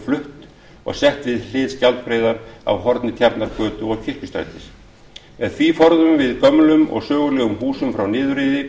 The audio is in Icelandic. flutt og sett við hlið skjaldbreiðar á horni tjarnargötu og kirkjustrætis með því forðum við gömlum og sögulegum húsum frá niðurrifi